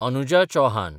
Anuja Chauhan